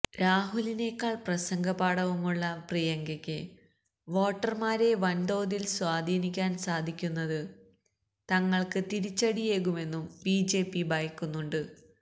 രാഹുലിനേക്കാൾ പ്രസംഗ പാടവമുള്ള പ്രിയങ്കയ്ക്ക് വോട്ടർമാരെ വൻ തോതിൽ സ്വാധീനിക്കാൻ സാധിക്കുന്നത് തങ്ങൾക്ക് തിരിച്ചടിയേകുമെന്നും ബിജെപി ഭയക്കുന്നുണ്ട്